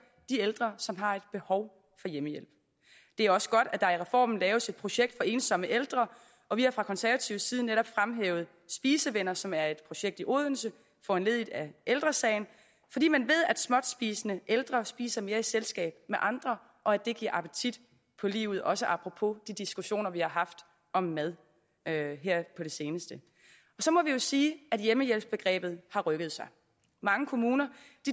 de ældre som har et behov for hjemmehjælp det er også godt at der i reformen laves et projekt for ensomme ældre og vi har fra konservatives side netop fremhævet spisevenner som er et projekt i odense foranlediget af ældre sagen fordi man ved at småtspisende ældre spiser mere i selskab med andre og at det giver appetit på livet også apropos de diskussioner vi har haft om mad her på det seneste så må vi jo sige at hjemmehjælpsbegrebet har rykket sig mange kommuner